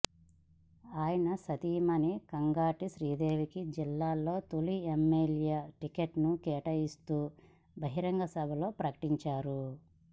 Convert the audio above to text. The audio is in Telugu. ఆయన సతీమణి కంగాటి శ్రీదేవికి జిల్లాలో తొలి ఎమ్మెల్యే టికెట్ను కేటాయిస్తూ బహిరంగసభలో ప్రకటించారు